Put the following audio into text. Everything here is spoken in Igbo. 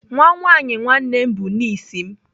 Nwa nwaanyị nwanne m bụ nis m.